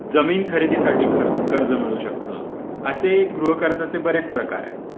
जमीन खरेदीसाठी खर्च कर्ज मिळू शकता. असे गृहकर्जाचे बरेच प्रकार आहेत.